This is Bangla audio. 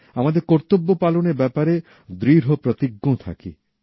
আমাদের কর্তব্য পালনের ব্যাপারে দৃঢ়প্রতিজ্ঞ থাকি